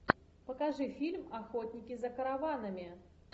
покажи фильм охотники за караванами